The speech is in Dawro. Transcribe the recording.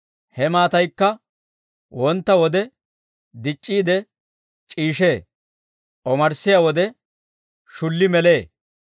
He maataykka wontta wode dic'c'iide c'iishshee; omarssiyaa wode shulli melee.